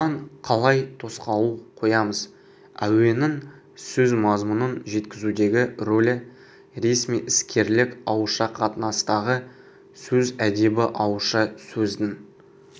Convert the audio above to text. оған қалай тосқауыл қоямыз әуеннің сөз мазмұнын жеткізудегі рөлі ресми-іскерлік ауызша қатынастағы сөз әдебі ауызша сөздің